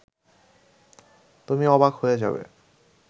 তুমি অবাক হয়ে যাবে